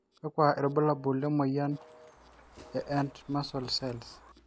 kakua irbulabol le moyian e and muscle cells.